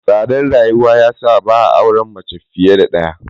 Tsadar rayuwa ta sa ba a son auren mace fiye da ɗaya.